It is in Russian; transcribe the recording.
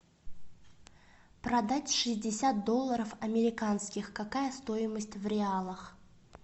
продать шестьдесят долларов американских какая стоимость в реалах